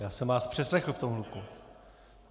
Já jsem vás přeslechl v tom hluku.